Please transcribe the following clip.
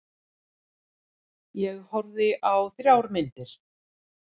Ég horfði á þrjár myndir.